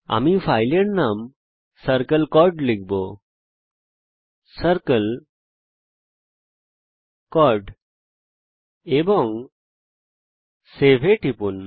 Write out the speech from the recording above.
আমি ফাইলের নাম circle চর্ড লিখব এবং সেভ এ টিপব